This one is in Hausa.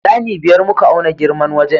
Ɗani biyar muka auna girman wajen.